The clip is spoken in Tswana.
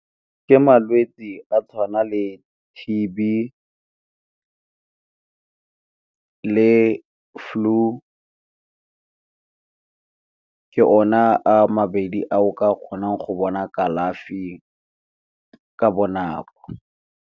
Ke malwetse a tshwana le T_B le flu, ka ona a mabedi a o ka kgonang go bona kalafi ka bonako.